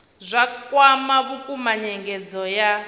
zwa kwama vhukuma nyengedzo ya